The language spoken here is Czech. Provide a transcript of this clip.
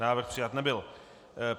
Návrh přijat nebyl.